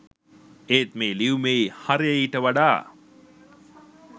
ඒත් මේ ලියුමේ හරය ඊට වඩා